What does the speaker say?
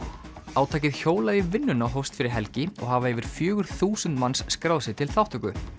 átakið hjólað í vinnuna hófst fyrir helgin og hafa yfir fjögur þúsund manns skráð sig til þátttöku